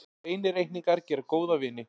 Hreinir reikningar gera góða vini.